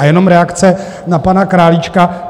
A jenom reakce na pana Králíčka.